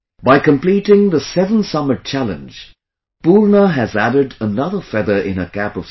By completeing the 7 summit challenge Poorna has added another feather in her cap of success